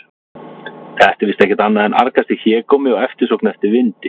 Þetta er víst ekkert annað en argasti hégómi og eftirsókn eftir vindi.